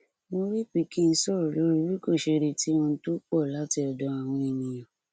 wárrì pikin sọrọ lórí bí kò ṣe retí ohun tó pọ láti ọdọ àwọn ènìyàn